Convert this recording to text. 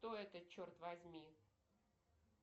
кто это черт возьми